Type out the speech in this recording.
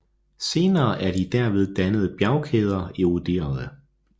Senere er de derved dannede bjergkæder eroderede